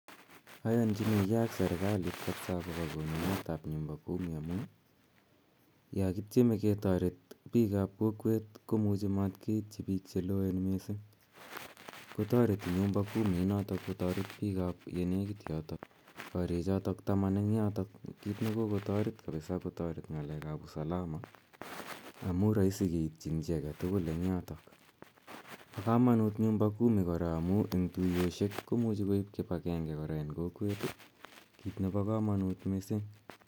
Ayanchinigei ak serikalit kapsa akopa konunet ap 'nyumba kumi' amu ya kitieme ke taret pik ap kokwet ko muchi mat keitchi pik che loen missing', kotareti 'nyumba kumi' inotok ko taret pik che nekit yotok, karichotok taman eng' yotok kit ne kokotaret kapsa kotaret ng'alek ap usalama amu raisi keitchin chi age tugul eng' yotok. Pa kamanut 'nyumba kumi' kora amu eng' tuyoshek ko muchi koip kip agenge kora eng' kokwet, kiit nepo kamanut missing'.